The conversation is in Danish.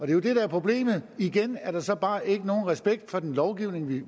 jo det der er problemet igen er der så bare ikke nogen respekt for den lovgivning vi